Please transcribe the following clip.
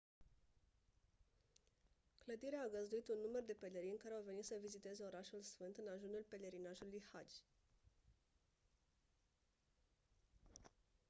clădirea a găzduit un număr de pelerini care au venit să viziteze orașul sfânt în ajunul pelerinajului hajj